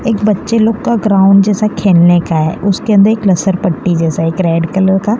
एक बच्चे लोग का ग्राउंड जैसा खेलने का है उसके अंदर एक लसरपट्टी जैसा एक रेड कलर का--